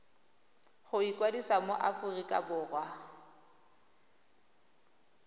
go ikwadisa mo aforika borwa